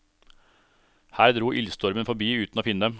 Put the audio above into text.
Her dro ildstormen forbi uten å finne dem.